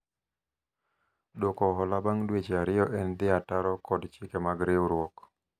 dwoko hola bang' dweche ariyo en dhi ataro kod chike mag riwruok